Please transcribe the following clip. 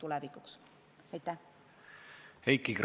Heiki Kranich, palun!